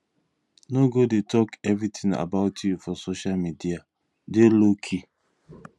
no go dey talk everything about you for social media dey low key